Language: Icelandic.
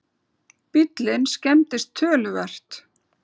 Bíllinn skemmdist töluvert